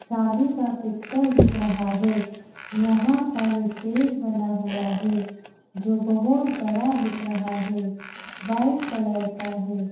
शादी का पिक्चर दिख रहा है। यहां पर स्टेज बना हुआ है। जो बहोत बड़ा दिख रहा है। वाइट कलर का है।